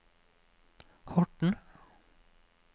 Horten